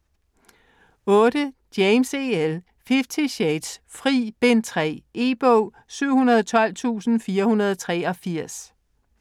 James, E. L.: Fifty shades: Fri: Bind 3 E-bog 712483